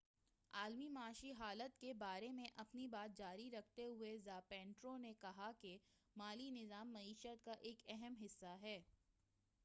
عالمی معاشی حالت کے بارے میں اپنی بات جاری رکھتے ہوئے زاپیٹرو نے کہا کہ مالی نظام معیشت کا ایک اہم حصہ ہے